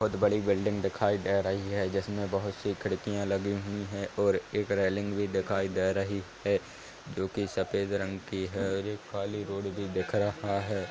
बहोत बड़ी बील्डींग दिखाई दे रही है। जिसमे बहोत सी खिड़किया लगी हुई है और एक रेलिंग भी दिखाई दे रही है जो की सफेद रंग की है और खाली रोड भी दिख रहा है ।